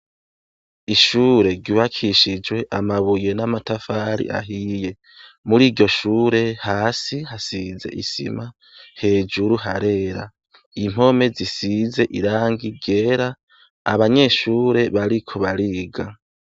ishure ry’ubakishijwe amabuye n’amatafari ahiye, muri iryoshure hasi hasize isima hejuru harera, impome zisize irangi ryera, abanyeshure bariko bariga.